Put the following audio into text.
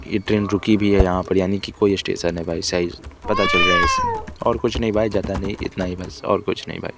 यह ट्रेन रुकी भी है यहां पर यानी कि कोई स्टेशन है भाई सही पता चल रहा है उसे और कुछ नहीं भाई ज्यादा नहीं इतना ही बस और कुछ नहीं भाई --